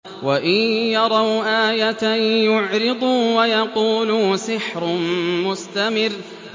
وَإِن يَرَوْا آيَةً يُعْرِضُوا وَيَقُولُوا سِحْرٌ مُّسْتَمِرٌّ